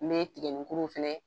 Me tigɛninkuru fɛnɛ